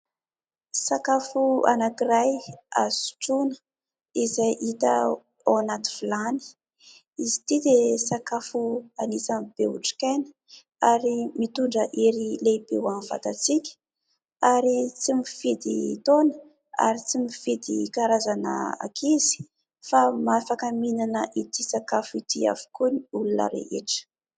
Sakafo anankiray azo sotroina izay hita ao anaty vilany. izy ity dia sakafo anisan'ny be otrik'aina ary mitondra hery lehibe ho an'ny vatantsika ary tsy mifidy taona ary tsy mifidy karazana ankizy fa afaka mihinana ity sakafo ity avokoa ny olona rehetra.